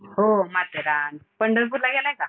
हो माथेरान. पंढरपूरला गेलाय का?